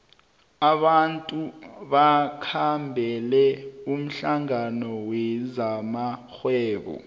abantu bakhambela umhlangano wezamarhwebo